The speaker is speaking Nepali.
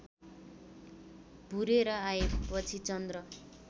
भुरेर आएपछि चन्द्र